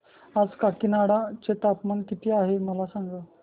आज काकीनाडा चे तापमान किती आहे मला सांगा